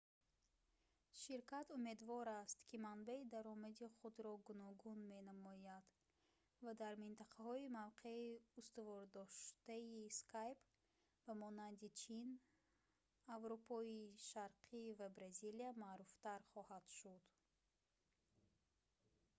ширкат умедвор аст ки манбаи даромади худро гуногун менамояд ва дар минтақаҳои мавқеи устувордоштаи skype ба монанди чин аврупои шарқӣ ва бразилия маъруфтар хоҳад шуд